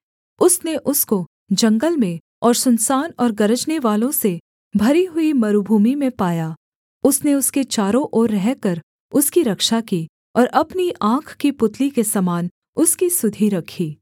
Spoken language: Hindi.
उसने उसको जंगल में और सुनसान और गरजनेवालों से भरी हुई मरूभूमि में पाया उसने उसके चारों ओर रहकर उसकी रक्षा की और अपनी आँख की पुतली के समान उसकी सुधि रखी